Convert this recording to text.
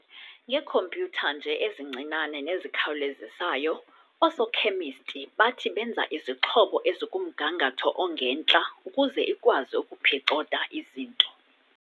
ngeekhompyutha nje ezincinane nezikhawulezisayo, oosokhemisti bathi benza izixhobo ezikumgangatho ongentla ukuze ikwazi ukuphicotha izinto.